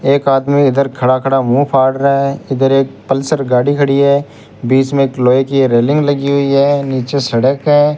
एक आदमी उधर खड़ा खड़ा मुंह फाड़ रहा है इधर एक पल्सर गाड़ी खड़ी है बीच में एक लोहे की रेलिंग लगी हुई है नीचे सड़क है।